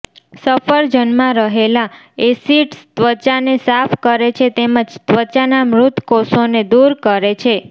સફરજનમાં રહેલા એસિડ્સ ત્વચાને સાફ કરે છે તેમજ ત્વચાના મૃતકોષોને દૂર કરે છે